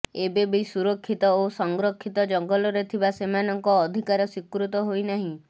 ଏବେବି ସୁରକ୍ଷିତ ଓ ସଂରକ୍ଷିତ ଜଙ୍ଗଲରେ ଥିବା ସେମାନଙ୍କ ଅଧିକାର ସ୍ୱୀକୃତ ହୋଇନାହିଁ